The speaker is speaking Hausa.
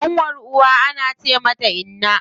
Ƙanwar uwa ana ce mata inna.